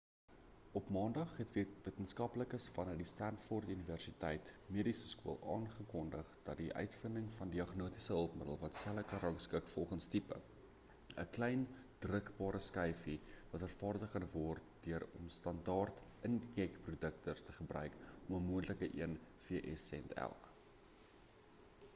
op maandag het wetenskaplikes vanaf die stanford universiteit medieseskool aangekondig dat die uitvinding van 'n diagnostiese hulpmiddel wat selle kan rangskik volgens tipe 'n klein drukbare skyfie wat vervaardig kan word deur om standard inkjetprinters te gebruik vir 'n moontlike een vs sent elk